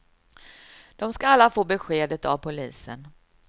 De ska alla få beskedet av polisen.